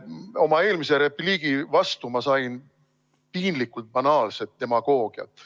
Oma eelmisele repliigile vastuseks sain ma piinlikult banaalset demagoogiat.